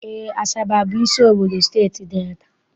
Eé, Asaba bụ isi obodo Steeti Delta.